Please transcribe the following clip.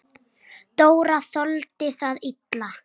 Dóra þoldi það illa.